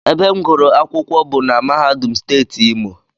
Ebe m gụrụ akwụkwọ bụ na mahadum steeti Imo